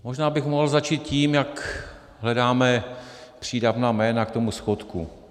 Možná bych mohl začít tím, jak hledáme přídavná jména k tomu schodku.